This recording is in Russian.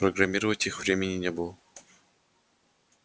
программировать их времени не было